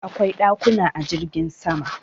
Akwai dakuna a jirgin sama